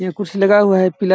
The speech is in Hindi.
ये कुछ लगा हुआ है पिला--